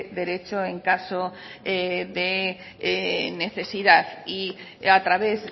derecho en caso de necesidad y a través